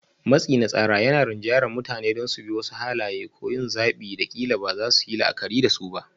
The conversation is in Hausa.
Matsi na tsara yana rinjayar mutane don su bi wasu halaye ko yin zaɓin da ƙila ba za su yi la'akari da su ba.